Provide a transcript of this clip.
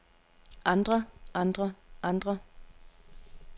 andre andre andre